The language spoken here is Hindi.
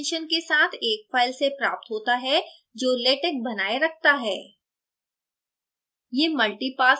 यह toc extension के साथ एक file से प्राप्त होता है जो latex बनाये रखता है